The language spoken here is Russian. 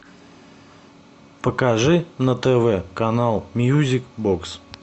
покажи на тв канал мьюзик бокс